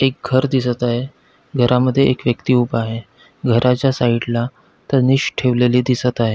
एक घर दिसत आहे घरामध्ये एक व्यक्ति उभा आहे घराच्या साइड ला ठेवलेली दिसत आहे.